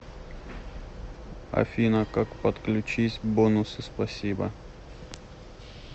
афина как подключись бонусы спасибо